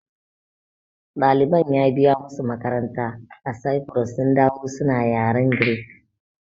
Ɗaliban ya biya musu makaranta a Sifurus sun dawo suna yaren Greek